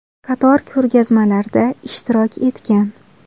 Qator ko‘rgazmalarda ishtirok etgan.